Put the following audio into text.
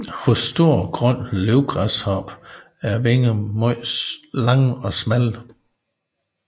Hos stor grøn løvgræshoppe er vingerne meget lange og smalle